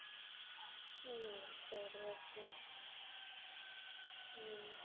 உம் சரி okay உம்